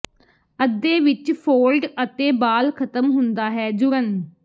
ਅੱਧੇ ਵਿੱਚ ਫੋਲਡ ਅਤੇ ਬਾਲ ਖਤਮ ਹੁੰਦਾ ਹੈ ਜੁੜਨ